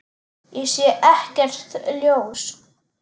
Ég sé ekkert ljós.